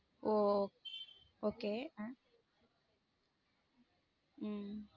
ஓஹ okay உம்